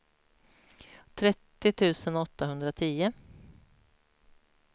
trettio tusen åttahundratio